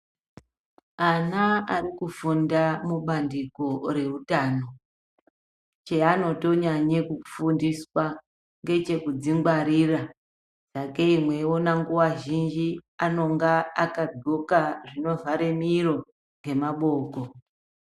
Ana ari kufunda mubandiko reutano cheanotonyanye kufundiswa ngechekudzingwarira sakei mweiona nguwa zhinji vanonga vakagxoka zvinovhare miro nemaboko.